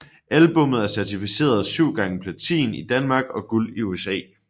Albummet er certificeret 7 x Platin i Danmark og Guld i USA